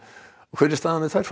hver er staðan með þær